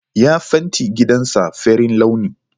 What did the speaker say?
Ya fenti gidansa farin launi.